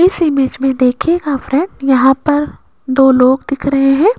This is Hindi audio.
इस इमेज में देखियेगा फ्रेंड यहां पर दो लोग दिख रहे हैं